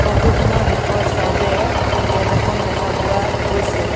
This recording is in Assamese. ফটো খনৰ শেষৰ ছাইড এ গেট এখন দেখা পোৱা গৈছে।